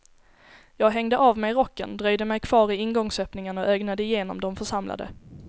Jag hängde av mig rocken, dröjde mig kvar i ingångsöppningen och ögnade igenom de församlade.